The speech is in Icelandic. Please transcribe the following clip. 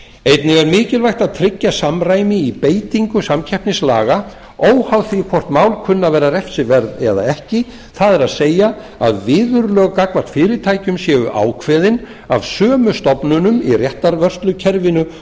einnig er mikilvægt að tryggja samræmi í beitingu samkeppnislaga óháð því hvort mál kunni að verða refsiverð eða ekki það er að viðurlög gagnvart fyrirtækjum séu ákveðin af sömu stofnunum í réttarvörslukerfinu